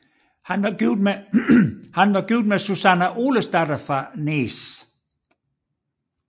Han var gift med Súsanna Olesdatter fra Nes